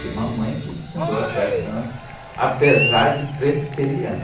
Que mamãe que ensinou essas danças, apesar de presbiteriana.